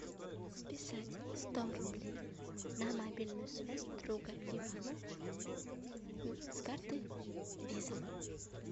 списать сто рублей на мобильную связь друга ивана с карты виза